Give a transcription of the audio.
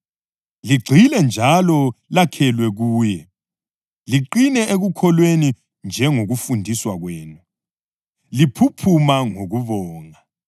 ligxile njalo lakhelwe kuye, liqine ekukholweni njengokufundiswa kwenu, liphuphuma ngokubonga.